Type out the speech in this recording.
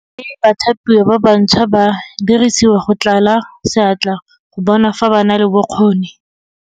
Mme bathapiwa ba bantšhwa ba dirisiwa go tlala seatla go bona fa ba na le bokgoni.